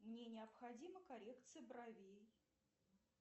мне необходима коррекция бровей